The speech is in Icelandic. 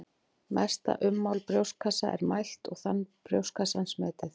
Mesta ummál brjóstkassa er mælt og þan brjóstkassans metið.